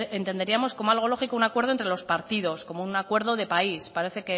entenderíamos como algo lógico un acuerdo entre los partidos como un acuerdo de país parece